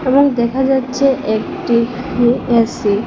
room দেখা যাচ্ছে একটি ইউ_এস_সি --